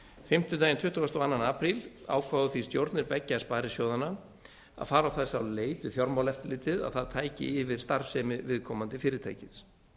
fimmtudaginn tuttugasta og annan apríl ákváðu því stjórnir beggja sparisjóðanna að fara þess á leit við fjármálaeftirlitið að það tæki yfir starfsemi viðkomandi fyrirtækis